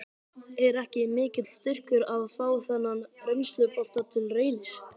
Er ekki mikill styrkur að fá þennan reynslubolta til Reynis?